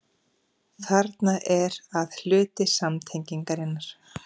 Þarna er að hluti samtengingarinnar.